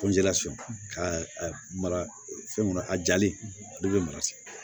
Ko nje surun ka mara fɛn kɔnɔ a jali ale bɛ mara sisan